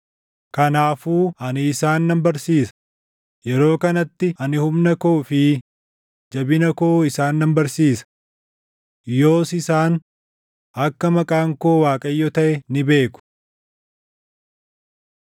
“Kanaafuu ani isaan nan barsiisa; yeroo kanatti ani humna koo fi jabina koo isaan nan barsiisa. Yoos isaan akka maqaan koo Waaqayyo taʼe ni beeku.